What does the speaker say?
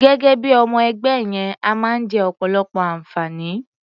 Gẹ́gẹ́ bí i ọmọ-ẹgbẹ́ yẹn, a máa ń jẹ ọ̀pọ̀lọpọ̀ àǹfààní.